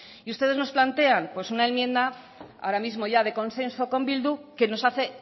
y ustedes nos plantean pues una enmienda ahora mismo ya de consenso con bildu que nos hace